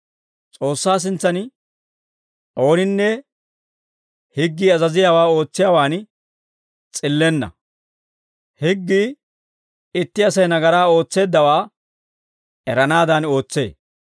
S'oossaa sintsan ooninne higgii azaziyaawaa ootsiyaawaan s'illenna; higgii itti Asay nagaraa ootseeddawaa eranaadan ootsee.